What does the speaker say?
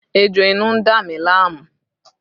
Ejò inú ń dá mi láàmú